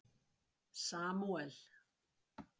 Samúel